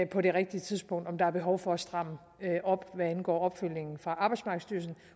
på det rigtige tidspunkt om der er behov for at stramme op hvad angår opfølgningen fra arbejdsmarkedsstyrelsen